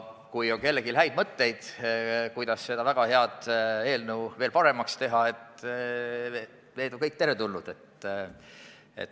Kui kellelgi on häid mõtteid, kuidas seda väga head eelnõu veel paremaks teha, siis need kõik on teretulnud.